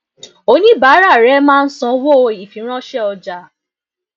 oníbàárà rẹ máa ń sanwó ìfiránṣẹ ọjà